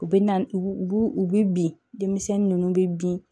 U bɛ na u u b'u u bɛ bin denmisɛnnin ninnu bɛ bin